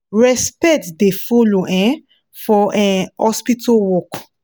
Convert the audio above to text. respect da follow um for um hospital work